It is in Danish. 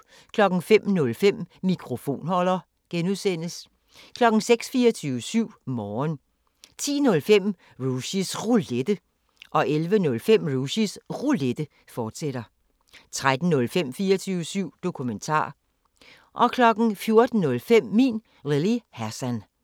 05:05: Mikrofonholder (G) 06:00: 24syv Morgen 10:05: Rushys Roulette 11:05: Rushys Roulette, fortsat 13:05: 24syv Dokumentar 14:05: Min Lille Hassan